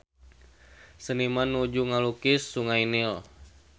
Seniman nuju ngalukis Sungai Nil